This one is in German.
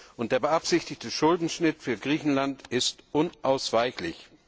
Und der beabsichtigte Schuldenschnitt für Griechenland ist unausweichlich.